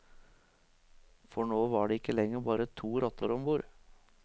For nå var det ikke lenger bare to rotter ombord.